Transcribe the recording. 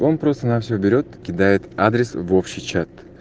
он просто на все берет кидает адрес в общий чат